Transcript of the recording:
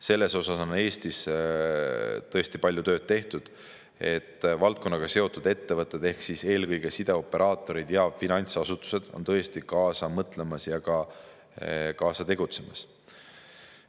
Selles osas on Eestis tõesti palju tööd tehtud, et valdkonnaga seotud ettevõtted ehk eelkõige sideoperaatorid ja finantsasutused on kaasa mõtlemas ja kaasa tegutsemas.